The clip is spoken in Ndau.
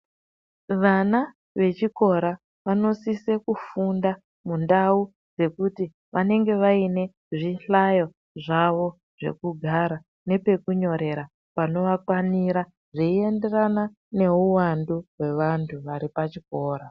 Vana vechikora vanosise kufunda mundau dzekuti vanenge vaine zvihlayo zvavo zvekugara nepekunyorera pakavakwanira zveienderana neuwandu hwevantu vari pachikora.